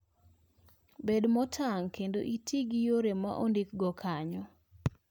Bed motang' kendo iti gi yore ma ondikgo kanyo.